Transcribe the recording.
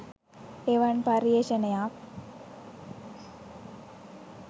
එවන් පර්යේෂණයක්